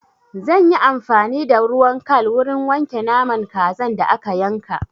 Zan yi amfani da ruwan kal wurin wanke naman kazan da aka yanka.